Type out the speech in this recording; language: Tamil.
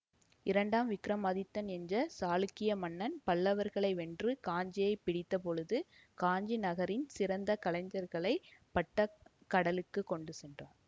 இரண்டாம் விக்ரமாதித்தன் என்ற சாளுக்கிய மன்னன் பல்லவர்களை வென்று காஞ்சியை பிடித்தபொழுது காஞ்சி நகரின் சிறந்த கலைஞர்களைப் பட்டகடலுக்குக் கொண்டு சென்றார்